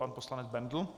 Pan poslanec Bendl.